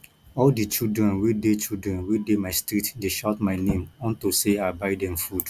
all the children wey dey children wey dey my street dey shout my name unto say i buy dem food